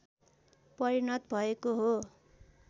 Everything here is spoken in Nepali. परिणत भएको हो